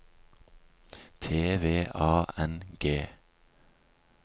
T V A N G